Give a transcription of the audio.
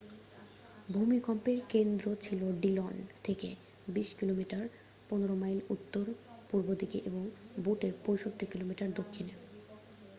ভূমিকম্পের কেন্দ্র ছিল ডিলন থেকে ২০ কিমি ১৫মাইল উত্তর-উত্তর পূর্ব দিকে এবং বুটের ৬৫ কিমি ৪০মাইল দক্ষিণে।